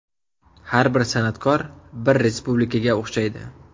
Har bir san’atkor bir respublikaga o‘xshaydi.